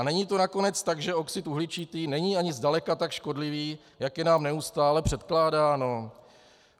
A není to nakonec tak, že oxid uhličitý není ani zdaleka tak škodlivý, jak je nám neustále předkládáno?